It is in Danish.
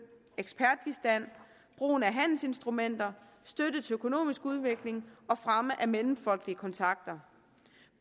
ekspertbistand brugen af handelsinstrumenter støtte til økonomisk udvikling og fremme af mellemfolkelige kontakter